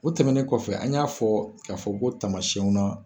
O tɛmɛnen kɔfɛ an y'a fɔ k'a fɔ ko tamasiɛnw na.